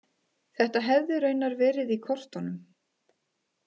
Þetta hefði raunar verið í kortunum